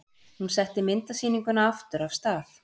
Hún setti myndasýninguna aftur af stað.